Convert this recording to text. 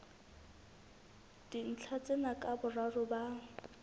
dintlha tsena ka boraro ba